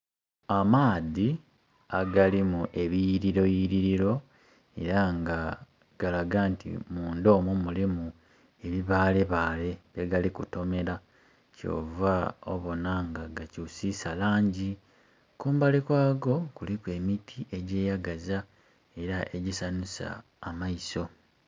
Amaadhi agalimu ebiyiriro yiriro era nga galaga nti munda omwo mulimu ebibale bale bye gali kutomera kyova obona nga gakyusisa langi, kumbali kwago kuliku emiti egyeyagaza era egisanhusa amaiso.